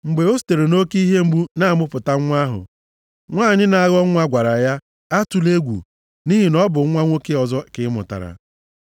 Mgbe o sitere nʼoke ihe mgbu na-amụpụta nwa ahụ, nwanyị na-aghọ nwa gwara ya, “Atụla egwu, nʼihi na ọ bụ nwa nwoke ọzọ ka ị mụtara.”